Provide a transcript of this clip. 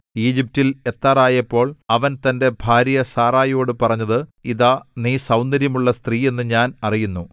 ഈജിപ്റ്റിൽ എത്താറായപ്പോൾ അവൻ തന്റെ ഭാര്യ സാറായിയോടു പറഞ്ഞത് ഇതാ നീ സൗന്ദര്യമുള്ള സ്ത്രീയെന്ന് ഞാൻ അറിയുന്നു